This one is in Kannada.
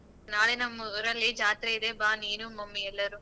ನಾಳೆ ನಮ್ಮೂರಲ್ಲಿ ಜಾತ್ರೆ ಇದೆ ಬಾ ನೀನು mummy ಎಲ್ಲರೂ.